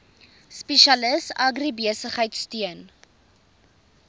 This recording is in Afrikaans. spesialis agribesigheid steun